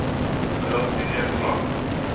middel senior vlak